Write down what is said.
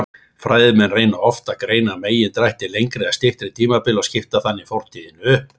Fræðimenn reyna oft að greina megindrætti lengri eða styttri tímabila og skipta þannig fortíðinni upp.